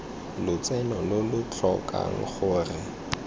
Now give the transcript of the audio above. lotseno lo lo tlhokang gore